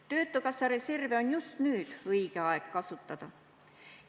Töötukassa reserve on just nüüd õige aeg kasutada.